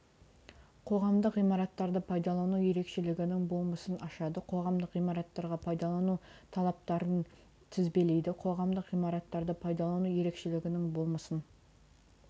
қоғамдық ғимараттарды пайдалану ерекшелігінің болмысын ашады қоғамдық ғимараттарға пайдалану талаптарын тізбелейді қоғамдық ғимараттарды пайдалану ерекшелігінің болмысын